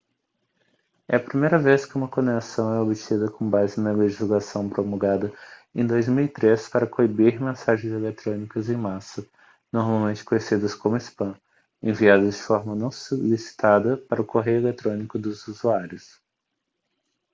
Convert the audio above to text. é a primeira vez que uma condenação é obtida com base na legislação promulgada em 2003 para coibir mensagens eletrônicas em massa normalmente conhecidas como spam enviadas de forma não solicitada para o correio eletrônico dos usuários